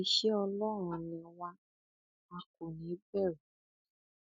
iṣẹ ọlọrun ni wà á kò ní í bẹrù